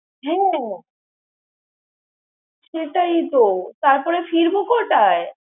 হ্যাঁ, সেটাই তো তার পরে ফিরবো কটায়?